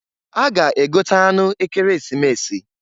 A ga-egote anụ Ekeresimesi.